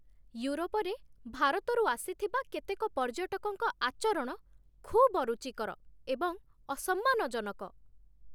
ୟୁରୋପରେ ଭାରତରୁ ଆସିଥିବା କେତେକ ପର୍ଯ୍ୟଟକଙ୍କ ଆଚରଣ ଖୁବ୍ ଅରୁଚିକର ଏବଂ ଅସମ୍ମାନଜନକ।